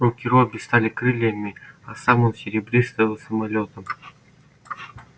руки робби стали крыльями а сам он серебристым самолётом